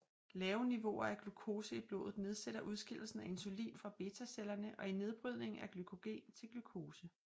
Lave niveauer af glukose i blodet nedsætter udskillelsen af insulin fra betacellerne og i nedbrydningen af glykogen til glukose